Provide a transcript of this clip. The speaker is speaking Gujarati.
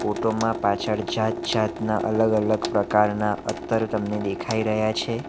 ફોટોમાં પાછળ જાત-જાતના અલગ-અલગ પ્રકારના અત્તર તમને દેખાઈ રહ્યા છે.